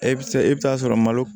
E bɛ se e bɛ taa sɔrɔ malo